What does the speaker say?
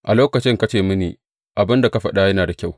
A lokacin ka ce mini, Abin da ka faɗa yana da kyau.